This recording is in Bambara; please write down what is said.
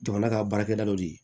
Jamana ka baarakɛda dɔ de ye